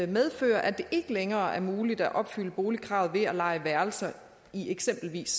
medføre at det ikke længere er muligt at opfylde boligkravet ved at leje værelser i eksempelvis